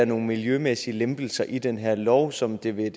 nogle miljømæssige lempelser i den her lov som det ved